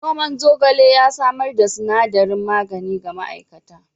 Noman zogale ya samar da sinadarin magani ga ma'aikatar.